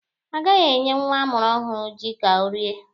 A gaghị enye nwa amụrụ ọhụrụ ji ka o rie.